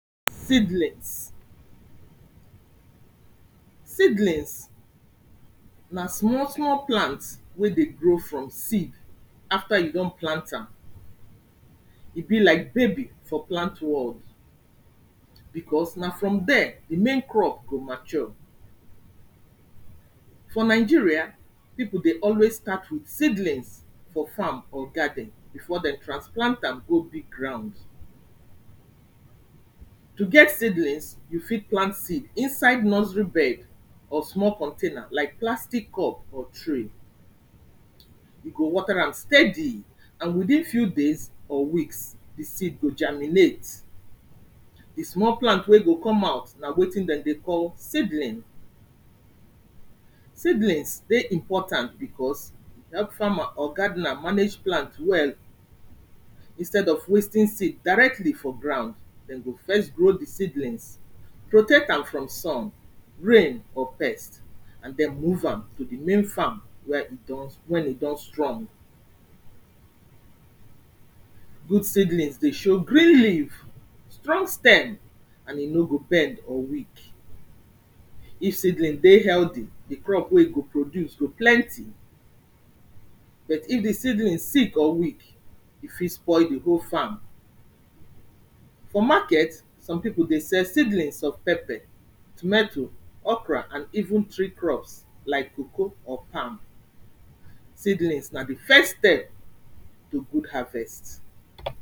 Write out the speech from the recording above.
Seedlings. Seedlings na small small plant wey dey grow from seed after you don plant am, e be like baby for plant world because na from dere di main crop go mature. For Nigeria, pipu dey always start with seedlings for farm or garden before dem transplant am go big ground. To get seedlings, you fit plant seed inside nursery bed or small container like plastic cup or tray. You go water am steady and within few days or weeks di seed go germinate. Di small plant wey go come out na wetin dem dey call seedling. Seedlings dey important because, e help farmer or gardener manage plant well instead of wasting seed directly for ground. Dem go first grow di seedlings protect am from sun, rain or pest and den move am to di main farm, where e don, when e don strong. Good seedlings dey show green leave, strong stem and e no go bend or weak. If seedling dey healthy, di crop wey e go produce go plenty, but if di seedling sick or weak e fit spoil di whole farm. For market some pipo dey sell seedlings of pepper, tometo, okra and even tree crops like cocoa or palm. Seedlings na di first step to good harvest.